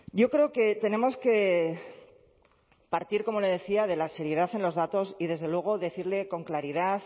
yo creo que tenemos que partir como le decía de la seriedad en los datos y desde luego decirle con claridad